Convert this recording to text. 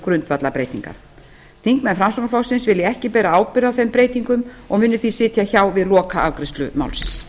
grundvallarbreytingar þingmenn framsóknarflokksins vilja ekki bera ábyrgð á þeim breytingum og munu því sitja hjá við lokaafgreiðslu málsins